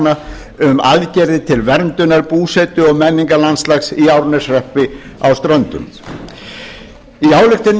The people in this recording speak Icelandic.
tillagna um aðgerðir til verndunar búsetu og menningarlandslags í árneshreppi á ströndum í ályktuninni er hnykkt